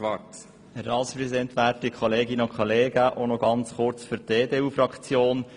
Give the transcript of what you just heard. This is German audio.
Ich äussere mich nur noch kurz im Namen der EDU-Fraktion.